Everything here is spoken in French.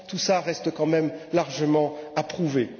Tout cela reste quand même largement à prouver.